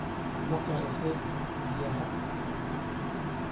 Ma karisay biyaha?